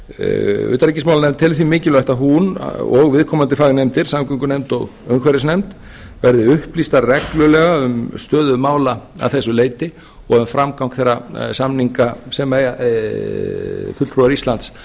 utanríkismálanefnd telur því mikilvægt að hún og viðkomandi fagnefndir samgöngunefnd og umhverfisnefnd verði upplýstar reglulega um stöðu mála að því leyti og um framgang þeirra samninga sem fulltrúar íslands